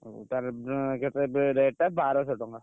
ହଉ ତାହେଲେ ବେ କେତେ rate ଟା ବାରସହ ଟଙ୍କା।